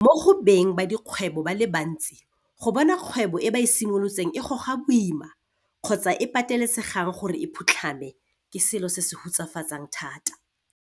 Mo go beng ba dikgwebo ba le bantsi go bona kgwebo e ba e simolotseng e goga boima kgotsa e patelesegang gore e phutlhame, ke selo se se hutsafatsang thata.